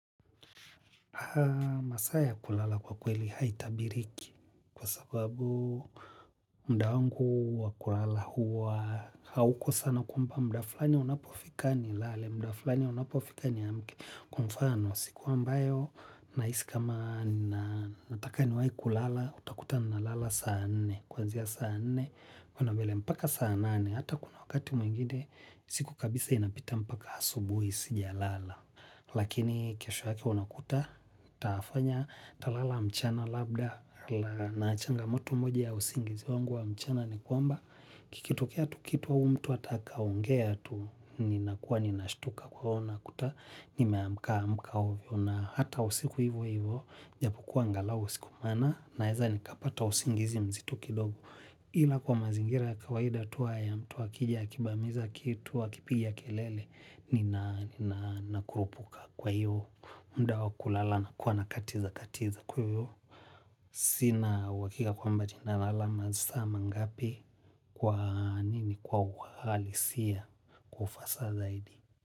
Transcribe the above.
Masaa ya kulala kwa kweli haitabiriki kwasababu mda wangu wa kulala huwa hauko sana kwamba mda fulani unapofika ni lale mda fulani unapofika niamke kwa mfano siku ambayo na hisi kama nataka niwai kulala utakuta na lala saa nne kwanzia saa nene kwenda mbele mpaka saa nane hata kuna wakati mwingine siku kabisa inapita mpaka hasubuhi sija lala. Lakini kesho yake unakuta, taafanya talala mchana labda na achanga mutu moja ya usingizi wangu wa mchana ni kwamba kikitokea tu kitu wa umtu atakaongea tu ni nakuwa ni nashtuka kuona kuta, nimeamka amka uvyo na hata usiku hivo hivo, japokuwa ngalau siku mawna naeza nikapata usingizi mzito kidogo. Ila kwa mazingira ya kawaida tuwa ya mtu akija, wakibamiza kitu, wakipiga kelele, nina kurupuka kwa hiyo, mda wakulala na kuwa nakatiza katiza kuyo. Sina uhakigmka kwamba jina lala masaa mangapi kwa nini kwa uhalisiya kwa ufasaha zaidi.